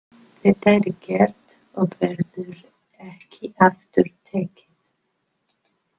Þetta er gert og verður ekki aftur tekið.